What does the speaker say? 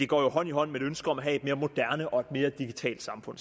går hånd i hånd med ønsket om at have mere moderne og mere digitalt samfund